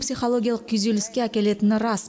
психологиялық күйзеліске әкелетіні рас